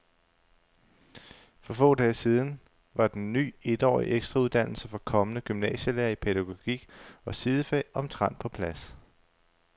For få dage siden var den ny etårige ekstrauddannelse for kommende gymnasielærere i pædagogik og sidefag omtrent på plads.